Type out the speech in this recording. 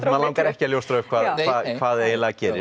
langar ekki að ljóstra upp hvað hvað eiginlega gerist